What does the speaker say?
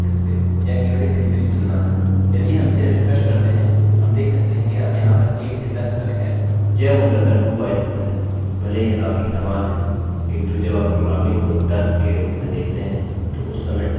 यह मूलतः dowhile लूपloop है भले ही यह काफी समान है किन्तु जब आप प्रोग्रामिंग को तर्क के रूप में देखते हैं तो उस समय dowhile लूपloop while लूपloop की अपेक्षा अधिक उपयोगी होता है कुछ मामलों में हो सकता है यह अधिक उपयोगी हो